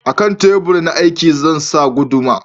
A kan tebur na aiki zan sa guduma